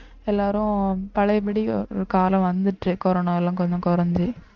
எல்லாரும் பழையபடி காலம் வந்துட்டு கொரோனா எல்லாம் கொஞ்சம் குறைஞ்சு